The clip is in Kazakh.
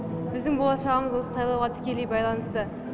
біздің болашағамыз осы сайлауға тікелей байланысты